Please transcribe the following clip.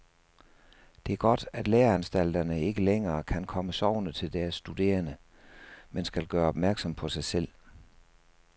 Det er godt, at læreanstalterne ikke længere kan komme sovende til deres studerende, men skal gøre opmærksom på sig selv.